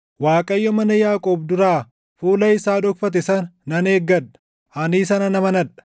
Waaqayyo mana Yaaqoob duraa fuula isaa dhokfate sana nan eeggadha. Ani isa nan amanadha.